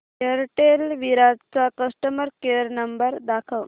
Airtel Virar चा customer care number दाखव